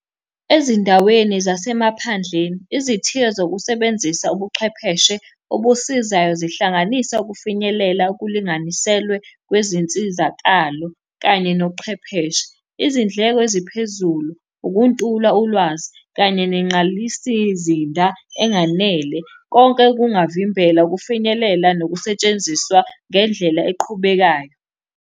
Ezindaweni zasemaphandleni, izithiyo zokusebenzisa ubuchwepheshe obusizayo zihlanganisa ukufinyelela okulinganiselwe kwezinsizakalo kanye nochwepheshe. Izindleko eziphezulu, ukuntula ulwazi, kanye nengqalisizinda enganele, konke kungavimbela ukufinyelela nokusetshenziswa ngendlela eqhubekayo.